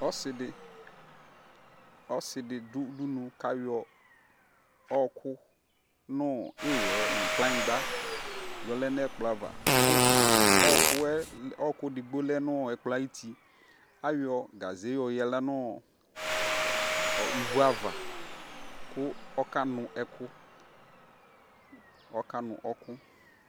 Ɔsidi du udunuu kayɔ ɔɔku nu iɣɛ nu kplanyigba yɔlɛ nɛkplɔava ku ɔɔkuɛ idigbo lɛ nu ɛkplɔ ayuti ayɔ gaʒe yoyaɣla nivuava ku ɔkanu ɔku ɔkanu ɛku